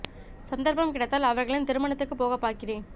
சந்தர்ப்பம் கிடைத்தால் அவர்களின் திருமணத்துக்குப் போகப் பார்க்கிறேன்